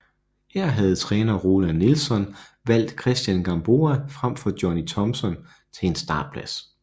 Her havde træner Roland Nilsson valgt Cristian Gamboa frem for Johnny Thomsen til en startplads